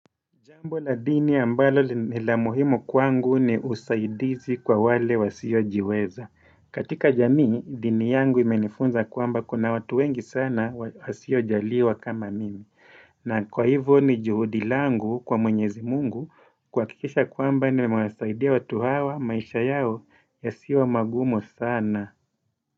Jambo la dini ambalo ni la muhimu kwangu ni usaidizi kwa wale wasiojiweza. Katika jamii, dini yangu imenifunza kwamba kuna watu wengi sana wasiojaliwa kama mimi. Na kwa hivo ni juhudi langu kwa mwenyezi mungu kuhakikisha kwamba nimewasaidia watu hawa maisha yao yasiwe magumu sana.